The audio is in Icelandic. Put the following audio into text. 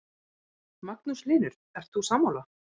Magnús Hlynur: Ert þú sammála?